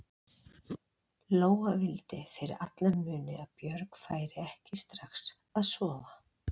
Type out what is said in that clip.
Lóa vildi fyrir alla muni að Björg færi ekki strax að sofa.